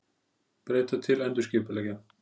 Breyta til endurskipuleggja